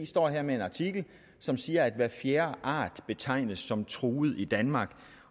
står her med en artikel som siger at hver fjerde art betegnes som truet i danmark